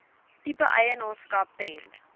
tipe eienaarskap ten